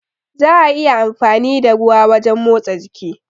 Za'a iya amfani da ruwa wajen motsa jiki.